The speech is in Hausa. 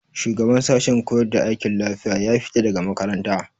Shugaban sashen koyar da aikin lafiya ya fita daga makaranta.